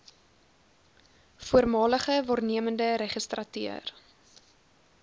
voormalige waarnemende registrateur